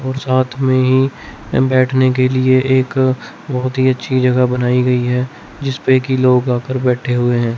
और साथ में ही बैठने के लिए एक बहोत ही अच्छी जगह बनाई गई है जिसपे की लोग आकर बैठे हुए हैं।